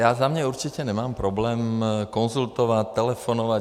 Já za mě určitě nemám problém konzultovat, telefonovat.